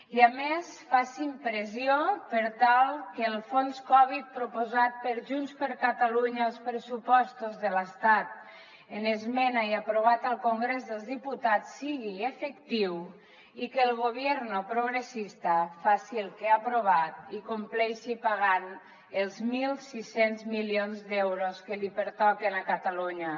i a més facin pressió per tal que el fons covid proposat pel junts per catalunya als pressupostos de l’estat en esmena i aprovat al congrés dels diputats sigui efectiu i que el gobierno progresista faci el que ha aprovat i compleixi pagant els mil sis cents milions d’euros que li pertoquen a catalunya